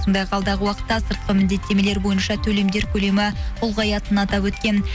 сондай ақ алдағы уақытта сыртқы міндеттемелер бойынша төлемдер көлемі ұлғаятынын атап өткен